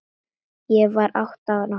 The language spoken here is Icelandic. Ég var átta ára.